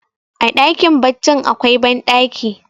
a dakin baccin akwai bandaki